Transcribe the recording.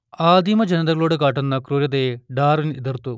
ആദിമജനതകളോടു കാട്ടുന്ന ക്രൂരതയെ ഡാർവിൻ എതിർത്തു